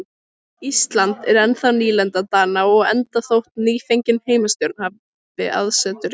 Ísland er ennþá nýlenda Dana og enda þótt nýfengin heimastjórn hafi aðsetur í